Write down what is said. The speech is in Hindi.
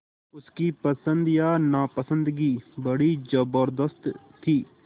उसकी पसंद या नापसंदगी बड़ी ज़बरदस्त थी